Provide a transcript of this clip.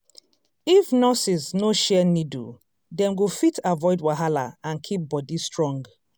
if nurses no share needle dem go fit avoid wahala and keep body strong.